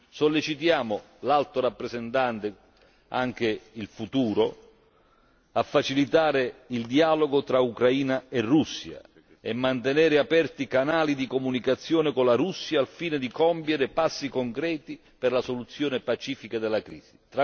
Sollecitiamo l'Alto rappresentante, anche in futuro, a facilitare il dialogo tra Ucraina e Russia e mantenere aperti canali di comunicazione con la Russia al fine di compiere passi concreti per la soluzione pacifica della crisi.